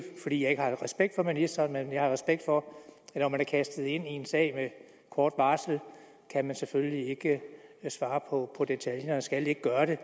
fordi jeg ikke har respekt for ministeren men fordi jeg har respekt for at når man er kastet ind i en sag med kort varsel kan man selvfølgelig ikke svare på om detaljerne og skal ikke gøre det